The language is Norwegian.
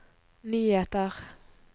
nyheter